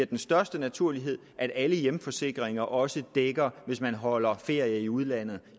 den største naturlighed at alle hjemforsikringer også dækker hvis man holder ferie i udlandet